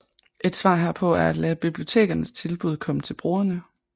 Et svar herpå er at lade bibliotekernes tilbud komme til brugerne